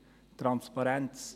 – Transparenz.